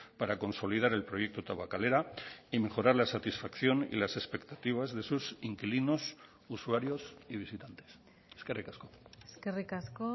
para consolidar el proyecto tabakalera y mejorar la satisfacción y las expectativas de sus inquilinos usuarios y visitantes eskerrik asko eskerrik asko